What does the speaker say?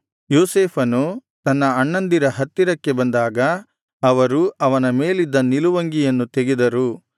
ಯೋಸೇಫನು ತನ್ನ ಅಣ್ಣಂದಿರ ಹತ್ತಿರಕ್ಕೆ ಬಂದಾಗ ಅವರು ಅವನ ಮೇಲಿದ್ದ ನಿಲುವಂಗಿಯನ್ನು ತೆಗೆದರು